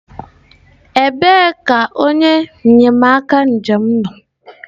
ebee ka onye enyemaka njem nọ?